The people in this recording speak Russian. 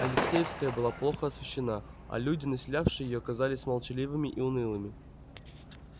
алексеевская была плохо освещена а люди населявшие её казались молчаливыми и унылыми